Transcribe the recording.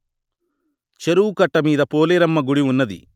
చెరువు కట్ట మీద పోలేరమ్మ గుడి ఉన్నది